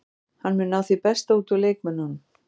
Hann mun ná því besta út úr leikmönnunum.